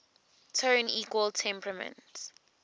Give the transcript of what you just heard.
tone equal temperament